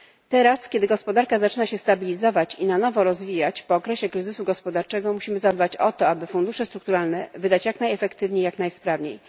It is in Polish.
Teraz, kiedy gospodarka zaczyna się stabilizować i na nowo rozwijać po okresie kryzysu gospodarczego, musimy zadbać o to, aby fundusze strukturalne wydać jak najefektywniej i jak najsprawniej.